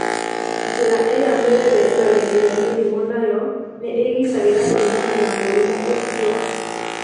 Njĩra ĩrĩa mwĩrĩ wĩrigagĩrĩria mĩrimũ nayo nĩ ĩgitagĩra kumana na mũrimũ ũcio.